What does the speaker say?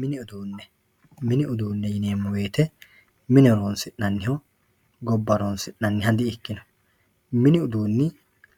mini uduunne mini uduunne yineemmo woyiite mine horoonsi'nanniho gobba horoonsi'nanniha dikkino mini uduunni